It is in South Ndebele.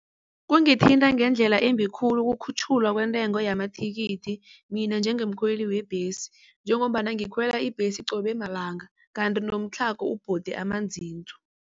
Kungithinta ngendlela embi khulu ukukhutjhulwa kwentengo yamathikithi mina njengomkhweli webhesi. Njengombana ngikhwela ibhesi qobe malanga kanti nomtlhago ubhode amazinzo.